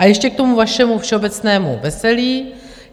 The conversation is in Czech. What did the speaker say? A ještě k tomu vašemu všeobecnému veselí.